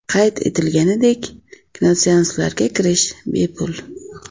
Qayd etilganidek, kinoseanslarga kirish bepul.